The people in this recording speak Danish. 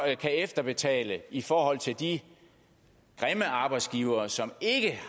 kan efterbetale i forhold til de grimme arbejdsgivere som ikke